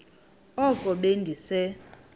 oko be ndise